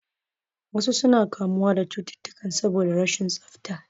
Wasu suna kamuwa da cututtukan saboda rashin tsafta